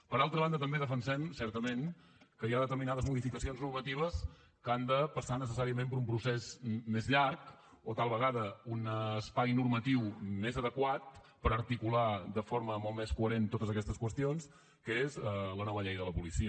per altra banda també defensem certament que hi ha determinades modificacions normatives que han de passar necessàriament per un procés més llarg o tal vegada un espai normatiu més adequat per articular de forma molt més coherent totes aquestes qüestions que és la nova llei de la policia